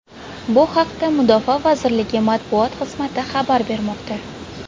Bu haqda Mudofaa vazirligi matbuot xizmati xabar bermoqda.